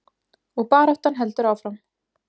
Og baráttan heldur áfram.